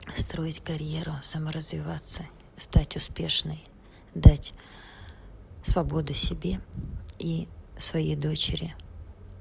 строить карьеру саморазвиваться стать успешной дать свободу себе и своей дочери